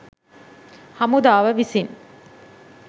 හමුදාව විසින්